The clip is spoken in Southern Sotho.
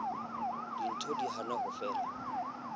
ntho di hana ho fela